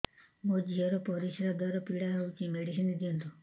ମୋ ଝିଅ ର ପରିସ୍ରା ଦ୍ଵାର ପୀଡା ହଉଚି ମେଡିସିନ ଦିଅନ୍ତୁ